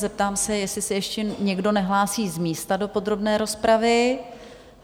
Zeptám se, jestli se ještě někdo nehlásí z místa do podrobné rozpravy?